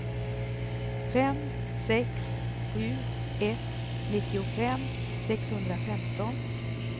fem sex sju ett nittiofem sexhundrafemton